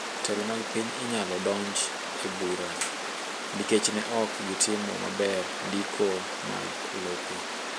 Jotelo mag piny inyalo donj e bura nikech ne ok gitimo maber ndiko mag lope